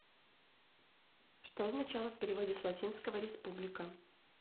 что означало в переводе с латинского республика